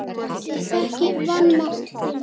Ég þekki vanmátt þinn.